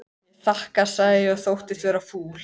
Ég þakka sagði ég og þóttist vera fúl.